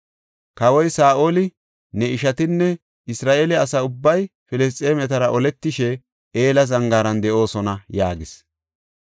Kawoy Saa7oli, ne ishatinne Isra7eele asa ubbay Filisxeemetara oletishe Ela Zangaaran de7oosona” yaagis.